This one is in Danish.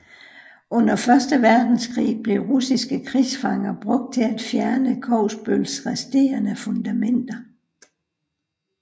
Under Første Verdenskrig blev russiske krigsfanger brugt til at fjerne Kogsbøls resterende fundamenter